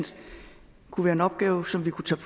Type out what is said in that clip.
kunne være en opgave som vi kunne tage